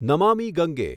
Namami Gange